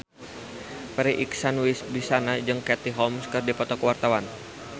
Farri Icksan Wibisana jeung Katie Holmes keur dipoto ku wartawan